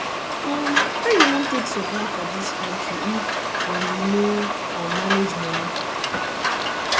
um how you wan take survive for dis country if um you no um manage money